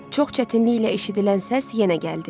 Çox çətinliklə eşidilən səs yenə gəldi.